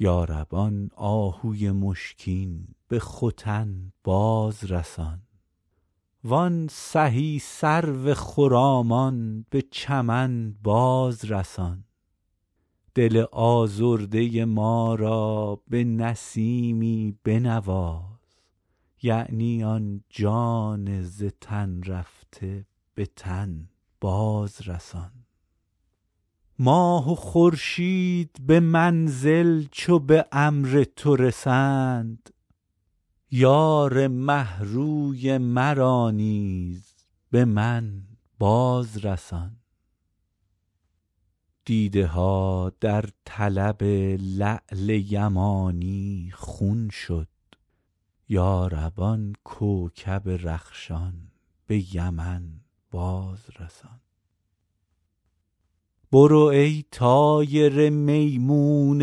یا رب آن آهوی مشکین به ختن باز رسان وان سهی سرو خرامان به چمن باز رسان دل آزرده ما را به نسیمی بنواز یعنی آن جان ز تن رفته به تن باز رسان ماه و خورشید به منزل چو به امر تو رسند یار مه روی مرا نیز به من باز رسان دیده ها در طلب لعل یمانی خون شد یا رب آن کوکب رخشان به یمن باز رسان برو ای طایر میمون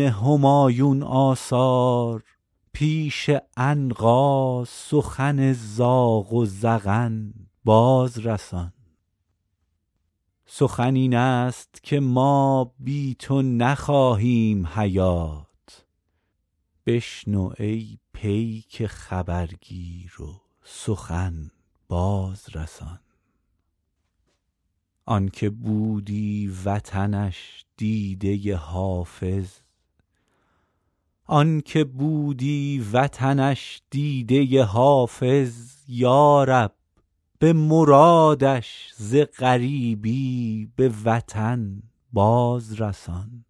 همایون آثار پیش عنقا سخن زاغ و زغن باز رسان سخن این است که ما بی تو نخواهیم حیات بشنو ای پیک خبرگیر و سخن باز رسان آن که بودی وطنش دیده حافظ یا رب به مرادش ز غریبی به وطن باز رسان